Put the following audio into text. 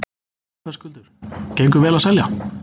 Höskuldur: Gengur vel að selja?